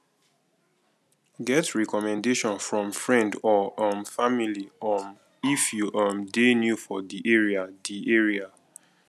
get recommendation from friend or um family um if you um dey new for di area di area